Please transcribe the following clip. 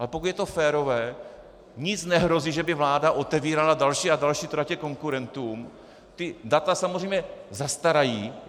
Ale pokud je to férové, nic nehrozí, že by vláda otevírala další a další tratě konkurentům, ta data samozřejmě zastarají.